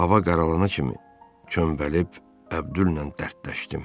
Hava qaralana kimi çömbəlib Əbdüllə dərdləşdim.